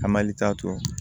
Ka malita to